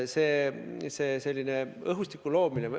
Sellise õhustiku loomine ...